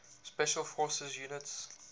special forces units